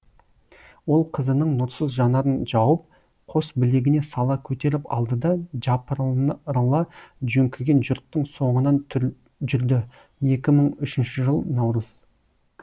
ол қызының нұрсыз жанарын жауып қос білегіне сала көтеріп алды да жапырыла жөңкіген жұрттың соңынан жүрді екі мың үшінші жыл наурыз